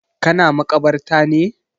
Ka na makabarta ne?